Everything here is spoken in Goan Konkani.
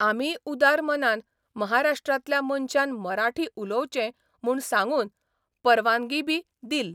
आमीय उदार मनान महाराष्ट्रांतल्या मनशान मराठी उलोवचें म्हूण सांगून परवांगीबी दील.